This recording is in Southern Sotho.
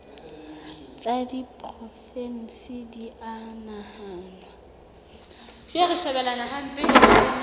tsa diporofensi di a nahanwa